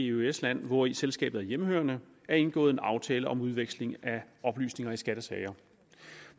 eøs land hvori selskabet er hjemmehørende er indgået en aftale om udveksling af oplysninger i skattesager